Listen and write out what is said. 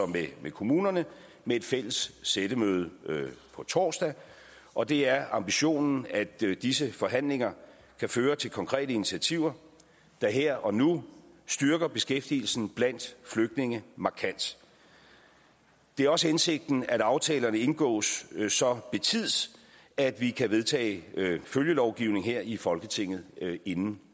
med kommunerne med et fælles sættemøde på torsdag og det er ambitionen at disse forhandlinger kan føre til konkrete initiativer der her og nu styrker beskæftigelsen blandt flygtninge markant det er også hensigten at aftalerne indgås så betids at vi kan vedtage følgelovgivning her i folketinget inden